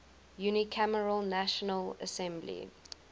unicameral national assembly